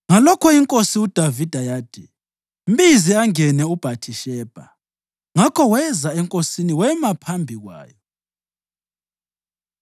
Ngalokho iNkosi uDavida yathi, “Mbize, angene uBhathishebha.” Ngakho weza enkosini wema phambi kwayo.